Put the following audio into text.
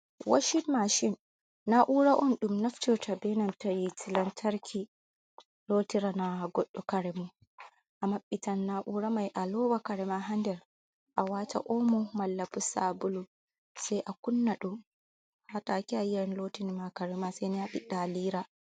Washin mashin, na'ura on dum naftota benan ta hite lantarki, lotirana godɗo karemon a maɓɓita na'ura mai a loa karema hander a wata omo malla sabulu sai a kunnaɗum atake ayiyan lotinama karema saini aɓiɗa alira.